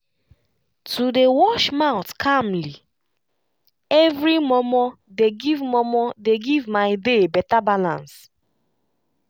to dey wash mouth calmly every momo dey give momo dey give my day better balance